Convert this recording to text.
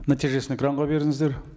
нәтижесін экранға беріңіздер